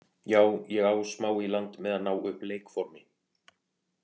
Já ég á smá í land með að ná upp leikformi.